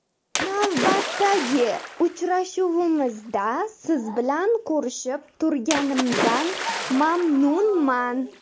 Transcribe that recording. Navbatdagi uchrashuvimizda siz bilan ko‘rishib turganimdan mamnunman.